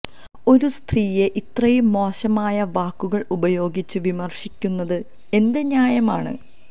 ഒരു സ്ത്രീയെ ഇത്രയും മോശമായ വാക്കുകൾ ഉപയോഗിച്ച് വിമശിക്കുന്നത് എന്ത് ന്യായമാണ്